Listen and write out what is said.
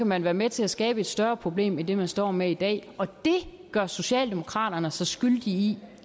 man være med til at skabe et større problem end det man står med i dag og det gør socialdemokraterne sig skyldige i